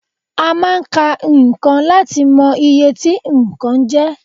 A máa ń ka nǹkan láti lẹ̀ mọ iye tí nǹkan jẹ́